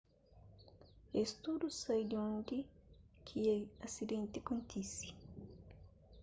es tudu sai di undi ki asidenti kontise